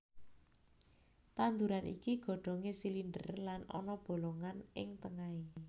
Tanduran iki godhongé silinder lan ana bolongan ing tengahé